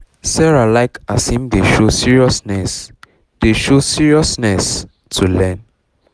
sarah like as him dey show seriousness dey show seriousness um to learn